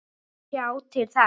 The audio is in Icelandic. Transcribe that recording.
Ég mun sjá til þess.